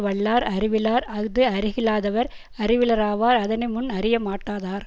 வல்லார் அறிவிலார் அஃது அறிகல்லாதவர் அறிவிலராவார் அதனைமுன் அறியமாட்டாதார்